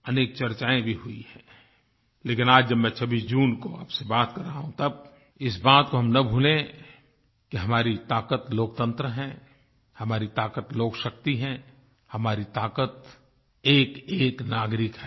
अनेक चर्चायें भी हुई हैं लेकिन आज जब मैं 26 जून को आपसे बात कर रहा हूँ तब इस बात को हम न भूलें कि हमारी ताकत लोकतंत्र है हमारी ताक़त लोकशक्ति है हमारी ताकत एकएक नागरिक है